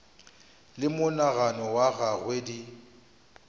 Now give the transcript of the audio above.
le monagano wa gagwe di